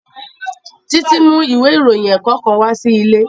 Títí mú ìwé ìròyìn ẹ̀kọ́ kan wá sí ilé